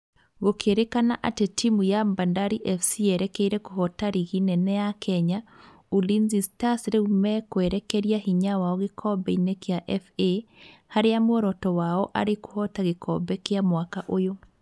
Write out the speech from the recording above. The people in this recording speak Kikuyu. Gũkĩrĩkana atĩ timu ya Bandari FC yerekeire kũhota rigi nene ya Kenya, Ulinzi Stars rĩu mekwerekeria hinya wao gĩkombe-inĩ kĩa FA harĩa muoroto wao arĩ kũhota gĩkombe kĩu mwaka ũyũ